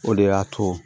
O de y'a to